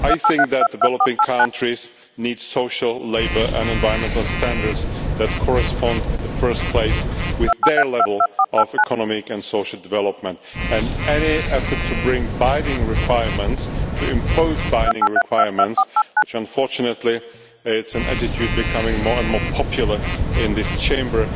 I think that developing countries need social, labour and environmental standards that correspond in the first place with their level of economic and social development, and any effort to bring binding requirements, to impose binding requirements, which unfortunately is an attitude becoming more and more popular in this Chamber,